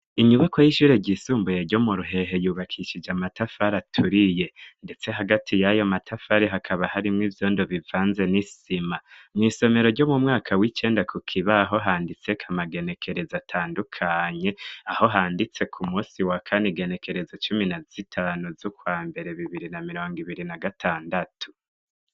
Inyubakwa y'ishuri ryisumbuye ryo mu Ruhehe, yubakishije amatafari aturiye ndetse hagati y'ayo matafari hakaba harimw'vyondo bivanze n'isima. Mw'isomero ryo mu mwaka w'cenda ku kibaho handitseko amagenekerezo atandukanye, aho handitse ku musi wa kane igenekerezo cumi na z'itanu z'ukwa mbere bibiri na mirongo ibiri na gatandatu.